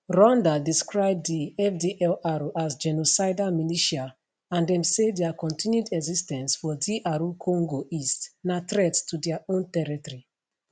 rwanda describe di fdlr as genocidal militia and dem say dia continued exis ten ce for dr congo east na threat to dia own territory